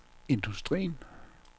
industrien